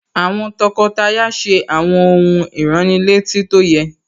Àwọn tọkọtaya ṣe àwọn ohun ìránnilétí tó yẹ